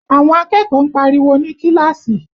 Àwọn akẹ́kọ̀ọ́ ń pariwo ní kíláàsì